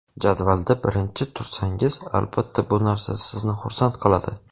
Jadvalda birinchi tursangiz, albatta bu narsa sizni xursand qiladi.